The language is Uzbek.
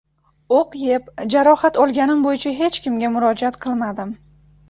O‘q yeb, jarohat olganim bo‘yicha hech kimga murojaat qilmadim.